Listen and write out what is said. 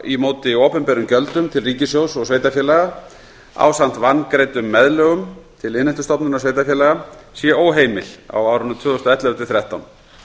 í móti opinberum gjöldum til ríkissjóðs og sveitarfélaga ásamt vangreiddum meðlögum til innheimtustofnunar sveitarfélaga sé óheimil á árunum tvö þúsund og ellefu til tvö þúsund og þrettán